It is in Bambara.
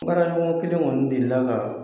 Baraɲɔgɔn kelen kɔni deli ka